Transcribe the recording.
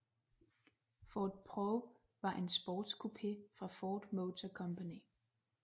Ford Probe var en sportscoupé fra Ford Motor Company